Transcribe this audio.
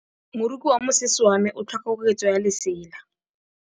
Moroki wa mosese wa me o tlhoka koketsô ya lesela.